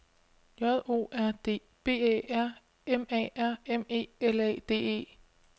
J O R D B Æ R M A R M E L A D E